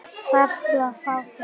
Þarftu að fá þau?